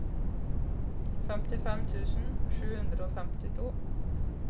femtifem tusen sju hundre og femtito